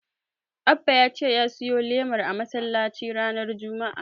Abba ya ce ya siyo lemar a masallaci ranar Juma'a.